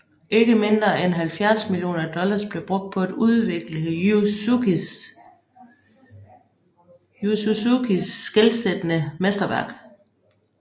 Ikke mindre end 70 millioner dollars blev brugt på at udvikle Yu Suzukis skelsættende mesterværk